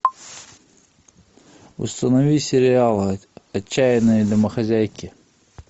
установи сериал отчаянные домохозяйки